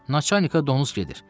Naçanika donuz gedir.